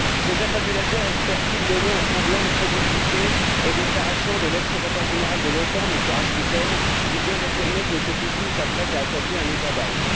Ces affabulateurs espèrent ils donner un semblant de crédibilité aux déclarations de l'ex secrétaire général de l'OTAN, M. Rasmussen, qui vient d'affirmer que M. Poutine s'apprête à attaquer un État balte?